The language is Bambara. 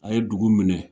A ye dugu minɛ